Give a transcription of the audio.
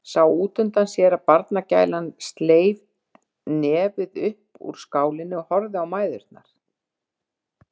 Sá útundan sér að barnagælan sleit nefið upp úr skálinni og horfði á mæðurnar.